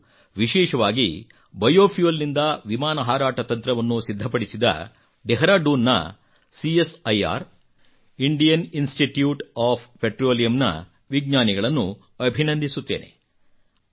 ಅದರಲ್ಲೂ ವಿಶೇಷವಾಗಿ ಬಯೋಫ್ಯುಯೆಲ್ ನಿಂದ ವಿಮಾನ ಹಾರಾಟ ತಂತ್ರವನ್ನು ಸಿದ್ಧಪಡಿಸಿದ ಡೆಹ್ರಾಡೂನ್ ನ CSIR Indian Institute of Petroleum ನ ವಿಜ್ಞಾನಿಗಳನ್ನು ಅಭಿನಂದಿಸುತ್ತೇನೆ